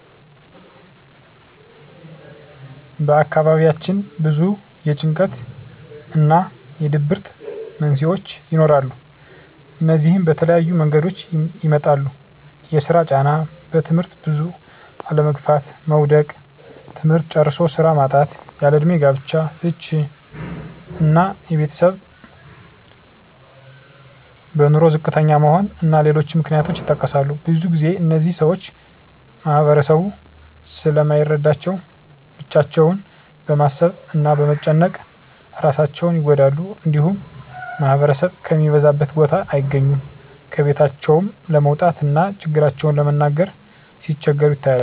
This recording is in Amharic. በአካባቢያችን ብዙ የጭንቀት እና የድብርት መንስሄዎች ይኖራሉ። እነዚህም በተለያየ መንገዶች ይመጣሉ የስራ ጫና; በትምህርት ብዙ አለመግፋት (መዉደቅ); ትምህርት ጨርሶ ስራ ማጣት; ያለእድሜ ጋብቻ; ፍች እና የቤተሰብ በኑሮ ዝቅተኛ መሆን እና ሌሎችም ምክንያቶች ይጠቀሳሉ። ብዙ ግዜ እነዚህን ሰወች ማህበረሰቡ ስለማይረዳቸው ብቻቸውን በማሰብ እና በመጨነቅ እራሳቸውን ይጎዳሉ። እንዲሁም ማህበረሰብ ከሚበዛበት ቦታ አይገኙም። ከቤታቸውም ለመውጣት እና ችግራቸውን ለመናገር ሲቸገሩ ይታያሉ።